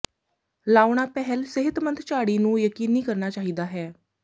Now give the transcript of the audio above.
ਲਾਉਣਾ ਪਿਹਲ ਸਿਹਤਮੰਦ ਝਾੜੀ ਨੂੰ ਯਕੀਨੀ ਕਰਨਾ ਚਾਹੀਦਾ ਹੈ